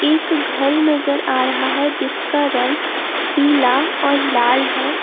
एक घर नजर आ रहा है जिसका रंग पीला और लाल है।